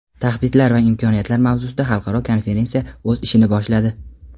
Tahdidlar va imkoniyatlar mavzusida xalqaro konferensiya o‘z ishini boshladi.